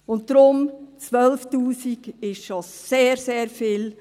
Und deshalb sind 12’000 Franken schon sehr, sehr viel.